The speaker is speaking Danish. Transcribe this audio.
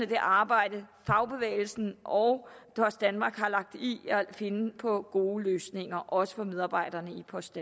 det arbejde fagbevægelsen og post danmark har lagt i at finde på gode løsninger også for medarbejderne i post